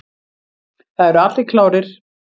Það eru allir klárir.